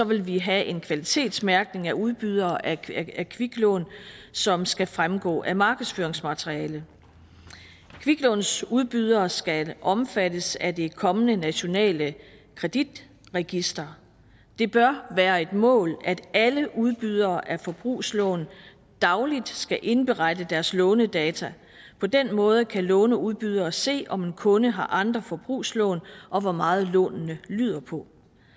vil vi have en kvalitetsmærkning af udbydere af kviklån som skal fremgå af markedsføringsmaterialet kviklånsudbydere skal omfattes af det kommende nationale kreditregister det bør være et mål at alle udbydere af forbrugslån dagligt skal indberette deres lånedata på den måde kan låneudbydere se om en kunde har andre forbrugslån og hvor meget lånene lyder på